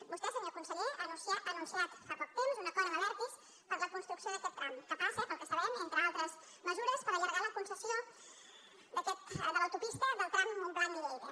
vostè senyor conseller ha anunciat fa poc temps un acord amb abertis per a la construcció d’aquest tram que passa pel que sabem entre altres mesures per allargar la concessió de l’autopista del tram mont·blanc·lleida